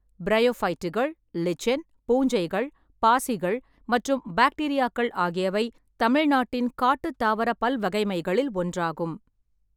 பிரையோஃபைட்டுகள், lichen, பூஞ்சைகள், பாசிகள் மற்றும் பாக்டீரியாக்கள் ஆகியவை தமிழ்நாட்டின் காட்டுத் தாவரப் பல்வகைமைகளில் ஒன்றாகும்.